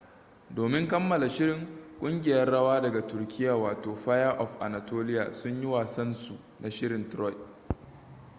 domin kammala shirin kungiyar rawa daga turkiya wato fire of anatolia sun yi wasan su na shirin troy